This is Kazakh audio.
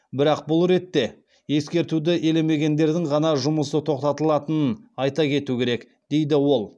бірақ бұл ретте ескертуді елемегендердің ғана жұмысы тоқтатылатынын айта кету керек дейді ол